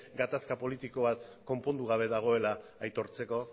gatazka politiko bat konpondu gabe dagoela aitortzeko